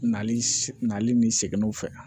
Nali nali ni seginw fɛ